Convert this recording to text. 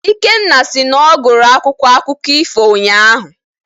Ikenna sị na ọ gụrụ akwụkwọ akụkọ ifo ụnyaahụ.